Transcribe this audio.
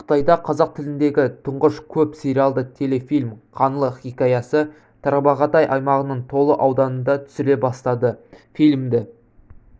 қытайда қазақ тіліндегі тұңғыш көп сериялды телефилім қаңлы хикаясы тарбағатай аймағының толы ауданында түсіріле бастады фильмді